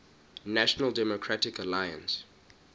national democratic alliance